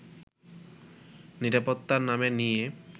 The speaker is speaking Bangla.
নিরাপত্তার নামে নিয়ে